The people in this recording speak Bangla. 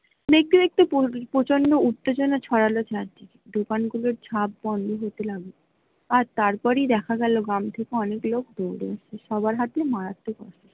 দেখতে দেখতে প্রচণ্ড উত্তেজনা ছড়াল, দোকান গুলোর ঝাঁপ বন্দ হতে লাগলো আর তার পরেই দেখা গেল গ্রাম থেকে অনেক লোক ।